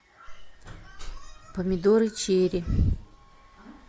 помидоры черри